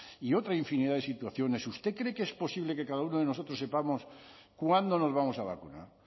y otra infinidad de situaciones usted cree que es posible que cada uno de nosotros sepamos cuándo nos vamos a vacunar